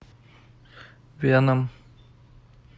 веном